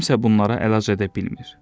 kimsə bunlara əlac edə bilmir.